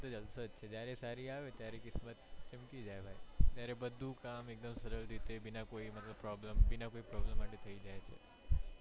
જલસો જ છે જયારે સારી આવે ત્યારે કિસ્મત ચમકી જાય ભાઈ ત્યારે બધુ કામ એકદમ સરળ રીતે બીના કોઈ problem મતલબ બીના કોઈ problem માટે થઇ જાય છે.